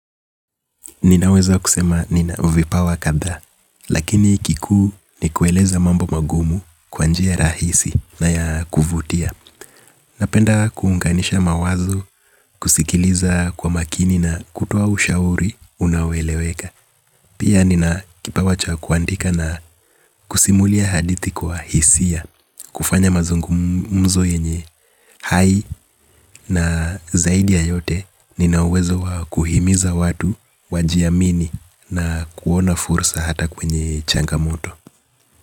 Ninaweza kusema nina vipawa kadhaa, lakini kikuu ni kueleza mambo magumu kwa njia rahisi na ya kuvutia. Napenda kuunganisha mawazo kusikiliza kwa makini na kutoa ushauri unaoeleweka. Pia nina kipawacha kuandika na kusimulia hadithi kwa hisia, kufanya mazungumzo yenye hai na zaidi ya yote nina uwezo kuhimiza watu, wajiamini na kuona fursa hata kwenye changamoto.